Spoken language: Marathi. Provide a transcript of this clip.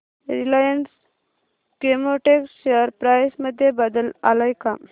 रिलायन्स केमोटेक्स शेअर प्राइस मध्ये बदल आलाय का